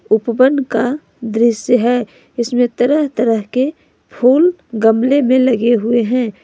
उपवन का दृश्य है इसमें तरह तरह के फूल गमले में लगे हुए हैं।